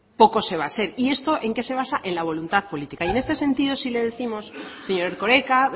poco se va a hacer y esto en qué se basa en la voluntad política en este sentido sí le décimos señor erkoreka